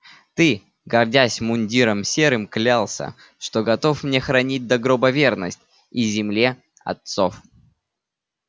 ты гордясь мундиром серым клялся что готов мне хранить до гроба верность и земле отцов